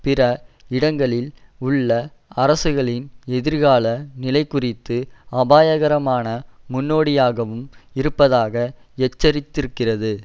பிற இடங்களில் உள்ள அரசுகளின் எதிர்கால நிலைகுறித்து அபாயகரமான முன்னோடியாகவும் இருப்பதாக எச்சரித்திருக்கிறது